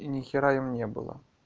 и ни хрена им не было